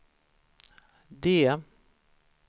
D